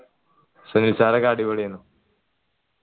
Sunil sir ഒക്കെ അടിപൊളിയെന്